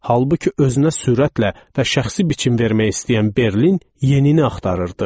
Halbuki özünə sürətlə və şəxsi biçim vermək istəyən Berlin yenini axtarırdı.